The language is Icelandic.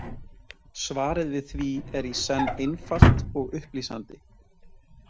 Svarið við því er í senn einfalt og upplýsandi.